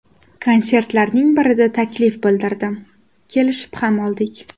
Konsertlarning birida taklif bildirdim, kelishib ham oldik.